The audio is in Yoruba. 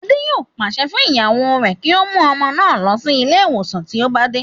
Adé yòó pàṣẹ fún ìyàwó rẹ̀ kí ó mú ọmọ náà lọ sí ilé ìwòsàn tí ó bá dé